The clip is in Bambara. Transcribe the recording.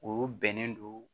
O bɛnnen don